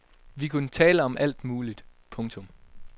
Vi kunne tale om alt muligt. punktum